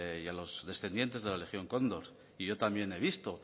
y a los descendientes de la legión condor y yo también he visto